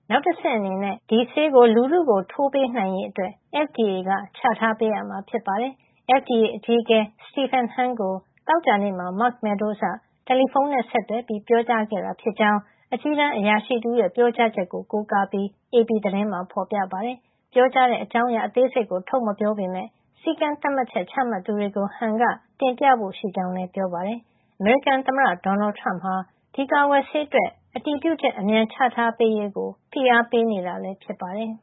နောက်တဆင့်အနေနဲ့ ဒီဆေးကို လူုထုကို ထိုးပေးနိုင်ရေး အတွက် FDA က ချထားပေးရမှာ ဖြစ်ပါတယ်။ FDA အကြီးအကဲ Stephen Hahn ကို သောကြာနေ့မှာ Mark Meadows က တယ်လီဖုန်းနဲ့ဆက်သွယ်ပြီး ပြောကြားခဲ့တာ ဖြစ်ကြောင်း အကြီးတန်း အရာရှိတဦးရဲ့ ပြောကြားချက်ကို ကိုးကားပြီး AP သတင်းမှာ ဖေါ်ပြပါတယ်။ ပြောကြားတဲ့ အကြောင်းရာ အသေးစိတ်ကို ထုတ်မပြောပေမယ့် စည်းကမ်းသတ်မှတ်ချက် ချမှတ်သူတွေကို Hahn က တင်ပြဖို့ရှိကြောင်းလည်း ပြောပါတယ်။ အမေရိကန်သမ္မတ ဒေါ်နယ်ထရမ့်ဟာ ဒီကာကွယ်ဆေး အတွက် အတည်ပြုချက် အမြန်ချထားပေးရေး ဖိအားပေးနေတာ ဖြစ်ပါတယ်